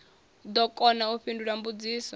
ḓo kona u fhindula mbudziso